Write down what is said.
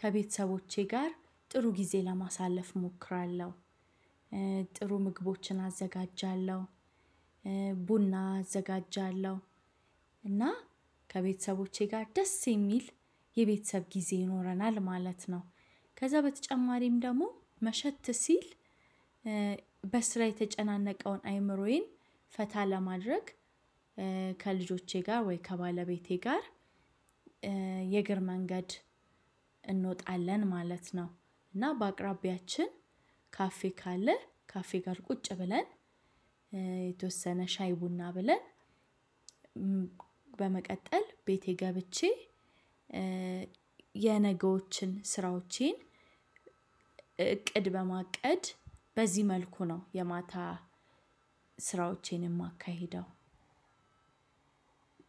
ከቤተሰቦቼ ጋር ጥሩ ጊዜ ለማሳለፍ እሞክራለሁ። ጥሩ ምግቦችን አዘጋጃለሁ፣ ቡና አዘጋጃለሁ እና ከቤተሰቦቼ ጋር ደስ የሚል የቤተሰብ ጊዜ ይኖረናል ማለት ነው። ከዛ በተጨማሪም ደግሞ መሸት ሲል በስራ የተጨናነቀውን አይምሮዬን ፈታ ለማድረግ ከልጆቼ ጋር ወይ ከባለቤቴ ጋር የእግር መንገድ እንወጣለን ማለት ነው። እና በአቅራቢያችን ካፌ ካለ ካፌ ጋር ቁጭ ብለን የተወሰነ ሻይ ቡና ብለን በመቀጠል ቤቴ ገብቼ የነገዎችን ስራዎቼን እቅድ በማቀድ በዚህ መልኩ ነው የማታ ስራዎቼን የማካሄደው